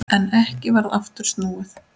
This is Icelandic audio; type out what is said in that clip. En ekki varð aftur snúið.